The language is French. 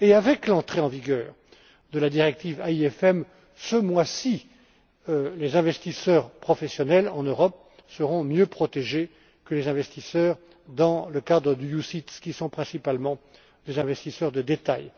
Avec l'entrée en vigueur de la directive AIFM ce mois ci, les investisseurs professionnels en Europe seront mieux protégés que les investisseurs dans des OPCVM, qui sont principalement des investisseurs de détail.